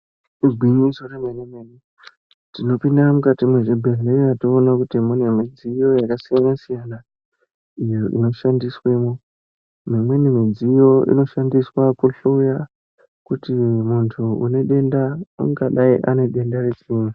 Igwinyiso remene-mene tinopinda mukati mwezvibhehleya, toona kuti munemudziyo yakasiyana-siyana, iyo inoshandiswemwo. Imweni midziyo inoshandiswa kuhloya kuti muntu une denda, ungadai ane denda rechii?